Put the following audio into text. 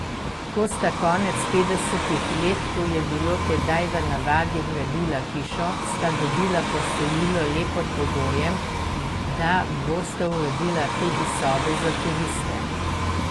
Ko sta konec petdesetih let, kot je bilo tedaj v navadi, gradila hišo, sta dobila posojilo le pod pogojem, da bosta uredila tudi sobe za turiste.